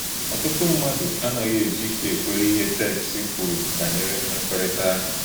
Ọ̀tùtù mmádụ à nà-ànàghị éjì íké ékwèrè íhè téksì kwùrù bányèré mmèkòrítàhụ́.